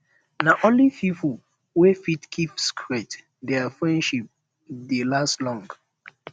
na only pipo wey fit keep secret dia friendship dey last long